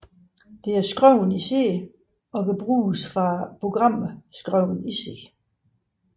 Det er skrevet i C og kan bruges fra programmer skrevet i C